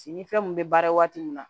Si ni fɛn min bɛ baara waati min na